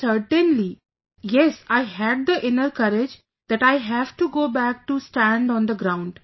But certainly... yes, I had the inner courage that I have to go back to stand on the ground